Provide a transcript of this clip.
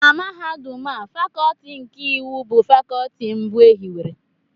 Na Mahadum a Fakọọti nke iwu bụ Fakọọti mbụ e hiwere